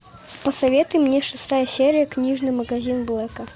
посоветуй мне шестая серия книжный магазин блэка